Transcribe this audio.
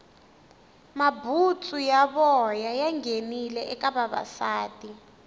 mabutsu ya voya ya nghenile eka vavasati